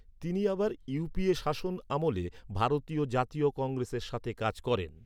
তিনি আবার ইউপিএ শাসন আমলে ভারতীয় জাতীয় কংগ্রেসের সাথে কাজ করেন।